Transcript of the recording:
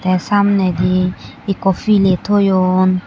te samnedi ikko piley toyon.